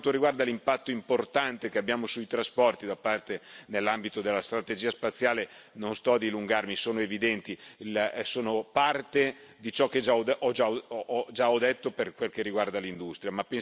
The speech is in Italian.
Per quanto riguarda l'impatto importante che abbiamo sui trasporti, nell'ambito della strategia spaziale, non sto a dilungarmi, è evidente, è parte di ciò che ho già detto per quel che riguarda l'industria.